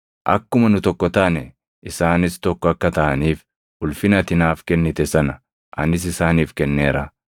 Akkuma nu tokko taane isaanis tokko akka taʼaniif, ulfina ati naaf kennite sana anis isaaniif kenneera;